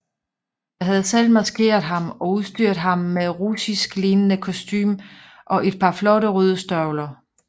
Jeg havde selv maskeret ham og udstyret ham med russisklignende kostume og et par flotte røde støvler